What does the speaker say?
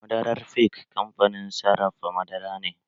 Madarar fik kamfanin sarrafa madara ne